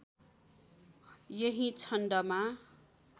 यही छन्दमा